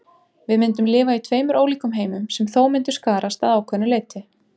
Við myndum lifa í tveimur ólíkum heimum sem þó myndu skarast að ákveðnu leyti.